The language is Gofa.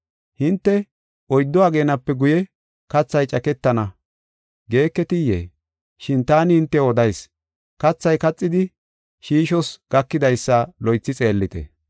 Hinte, ‘Oyddu ageenape guye kathay caketana’ geeketiyee? Shin taani hintew odayis; kathay kaxidi shiishoos gakidaysa loythi xeellite.